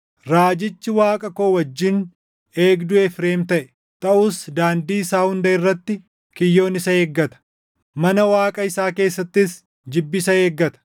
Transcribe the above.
Raajichi Waaqa koo wajjin eegduu Efreem taʼe; taʼus daandii isaa hunda irratti kiyyoon isa eeggata; mana Waaqa isaa keessattis jibbi isa eeggata.